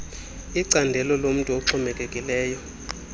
icandelo lomntu oxhomekekileyo